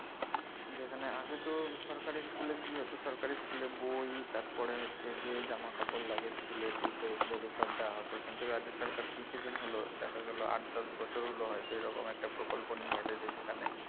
যেখানে আগে তো সরকারি school এ কি হত সরকারি school এ বই তারপরে হচ্ছে যে জামা কাপড় লাগে school এর জুতো এগুলো তো সব দেওয়া হত কিন্তু রাজ্য সরকার কিছুদিন হল দেখা গেল আট দশ বছর হল হয়তো এরকম একটা প্রকল্প নিয়েছে যে যেখানে